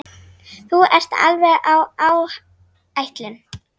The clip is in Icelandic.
Þú ert alveg á áætlun.